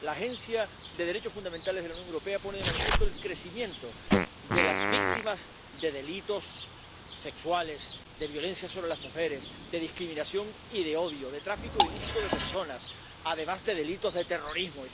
La Agencia de los Derechos Fundamentales de la Unión Europea pone de manifiesto el crecimiento de las víctimas de delitos sexuales, de violencia sobre las mujeres, de discriminación y de odio, de tráfico ilícito de personas, además de delitos de terrorismo.